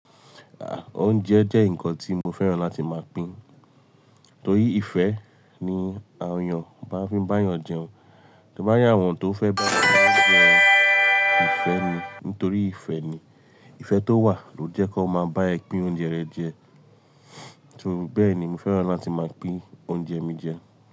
Ah! Oúnjẹ jẹ́ nǹkan tí mo fẹ́ràn láti máa pín. Torí ìfẹ́ ni a òòyàn máa ń fi bá èèyàn jẹun. Tó bá rí àwọn tó fẹ́ bá ẹ jẹ oúnjẹ, ìfẹ́ ni. Nítorí ìfẹ́ ni. Ìfẹ́ tó wà ló jẹ́ kó máa bá ẹ pín oúnjẹ rẹ jẹ. So bẹ́ẹ̀ ni mo fẹ́ràn láti máa pín oúnjẹ mi jẹ.